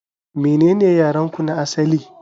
Menene yarenku na asali?